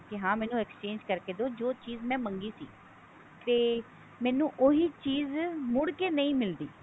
ਹਾਂ ਮੈਨੂੰ exchange ਕਰਕੇ ਦੋ ਜੋ ਚੀਜ ਮੈਂ ਮੰਗੀ ਸੀ ਤੇ ਮੈਨੂੰ ਉਹੀ ਚੀਜ ਮੁੜ ਕੇ ਨਹੀਂ ਮਿਲਦੀ